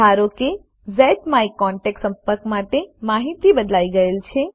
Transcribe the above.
ધારો કે ઝ્માયકોન્ટેક્ટ સંપર્ક માટે માહિતી બદલાઈ ગયેલ છે